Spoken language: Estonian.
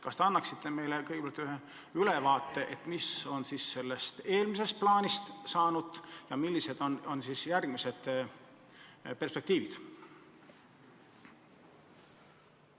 Kas te annaksite meile kõigepealt ülevaate, mis on sellest eelmisest plaanist saanud ja millised on edasised perspektiivid?